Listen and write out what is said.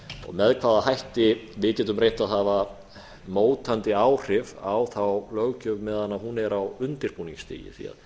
með hvaða hætti við getum reynt að hafa mótandi áhrif á þá löggjöf meðan hún er á undirbúningsstigi því